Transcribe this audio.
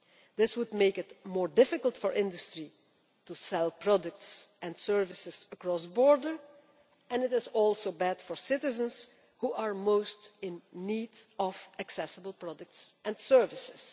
This would make it more difficult for industry to sell products and services across borders, and it is also bad for citizens who are most in need of accessible products and services.